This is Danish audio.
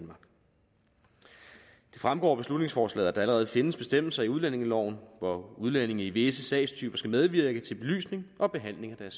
fremgår af beslutningsforslaget at der allerede findes bestemmelser i udlændingeloven hvor udlændinge i visse sagstyper skal medvirke til belysning og behandling af